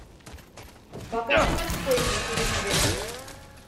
покажи морской на телевизоре